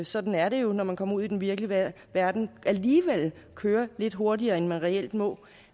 sådan er det jo når man kommer ud i den virkelige verden kører lidt hurtigere end de reelt må